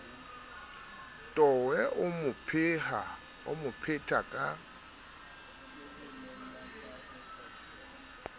towe o mo phetha ka